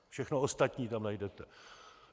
Všechno ostatní tam najdete.